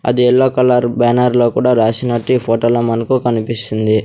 అది yellow colour banner లో కూడా రాసినట్టు ఈ ఫోటో లో మనకు కనిపిస్తుంది.